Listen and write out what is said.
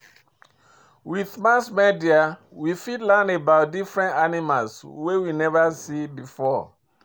With mass media, we fit learn about different animals wey we never see before